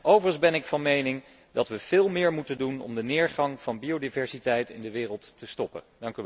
Overigens ben ik van mening dat we veel meer moeten doen om de neergang van biodiversiteit in de wereld te stoppen.